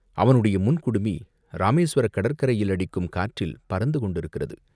அவனுடைய முன் குடுமி இராமேசுவரக் கடற்கரையில் அடிக்கும் காற்றில் பறந்து கொண்டிருக்கிறது.